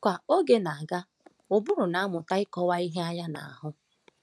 Ka oge na-aga, ụbụrụ na-amụta ịkọwa ihe anya na-ahụ.